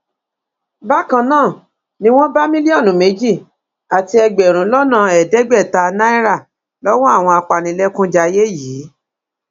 àwọn òbí ń ṣe kàyéfì bóyá àwọn ọrẹ kéékèèké ṣì lè ní ipa tó ṣe pàtàkì